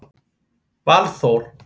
Valþór